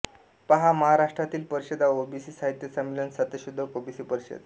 पहा महाराष्ट्रातील परिषदा ओबीसी साहित्य संमेलन सत्यशोधक ओबीसी परिषद